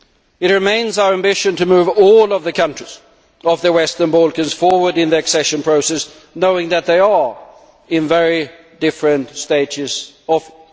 It remains our ambition to move all of the countries of the western Balkans forward in the accession process, knowing that they are at very different stages of it.